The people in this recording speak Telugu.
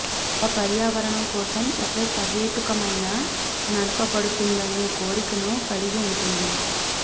ఒక పర్యావరణం కోసం ఒక సహేతుకమైన నడపబడుతుందనే కోరికను కలిగి ఉంటుంది